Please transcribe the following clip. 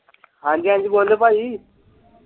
ਹਾਂਜੀ-ਹਾਂਜੀ ਬੋਲੋ ਭਾਜੀ।